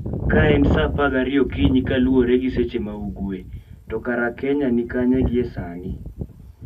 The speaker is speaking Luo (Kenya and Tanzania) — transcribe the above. Ka en saa apar gariyo okinyi kaluwore gi seche ma ugwe, to kare Kenya ni kanye gie sani?